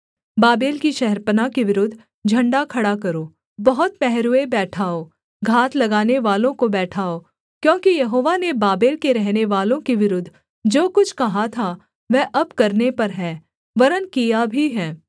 Babel की शहरपनाह के विरुद्ध झण्डा खड़ा करो बहुत पहरुए बैठाओ घात लगाने वालों को बैठाओ क्योंकि यहोवा ने बाबेल के रहनेवालों के विरुद्ध जो कुछ कहा था वह अब करने पर है वरन् किया भी है